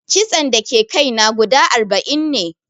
Kitson da ke kai na guda arba'in ne